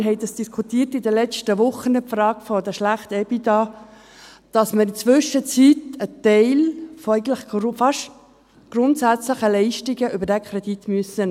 Wir haben dies in den letzten Wochen diskutiert, die Frage der schlechten EBITDA sodass in der Zwischenzeit grundsätzliche Leistungen über diesen Kredit genommen werden müssen.